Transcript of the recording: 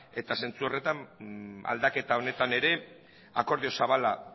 ezta eta zentzu horretan aldaketa honetan ere akordio zabala